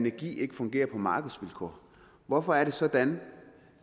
ikke fungere på markedsvilkår hvorfor er det sådan